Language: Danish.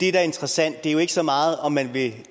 er interessant det er jo ikke så meget om man vil